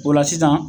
O la sisan